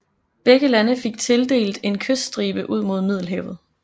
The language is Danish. Begge lande fik tildelt en kyststribe ud mod Middelhavet